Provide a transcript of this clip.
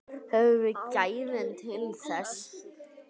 Höfum við gæðin til þess?